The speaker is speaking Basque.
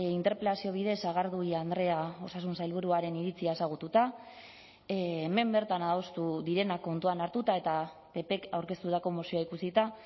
interpelazio bidez sagardui andrea osasun sailburuaren iritzia ezagututa hemen bertan adostu direnak kontuan hartuta eta ppk aurkeztutako mozioa ikusita